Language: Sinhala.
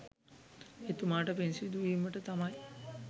එතුමාට පින් සිදුවීමට තමයි